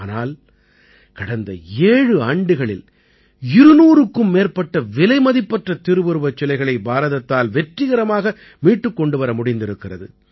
ஆனால் கடந்த ஏழு ஆண்டுகளில் 200க்கும் மேற்பட்ட விலைமதிப்பற்ற திருவுருவச் சிலைகளை பாரதத்தால் வெற்றிகரமாக மீட்டுக் கொண்டு வர முடிந்திருக்கிறது